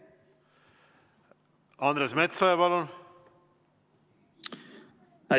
Andres Metsoja, palun!